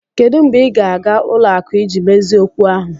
Kedu mgbe ị ga-aga ụlọ akụ iji mezie okwu ahụ?